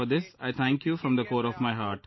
For this I thank you from the core of my heart